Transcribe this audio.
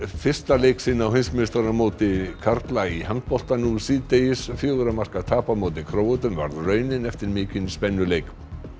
fyrsta leik á heimsmeistaramóti karla í handbolta nú síðdegis fjögurra marka tap gegn Króötum varð raunin eftir mikinn spennuleik